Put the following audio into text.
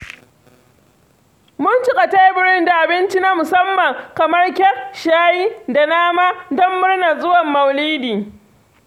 Mun cika teburin da abinci na musamman kamar kek, shayi da nama don don murnar zuwan Maulidi.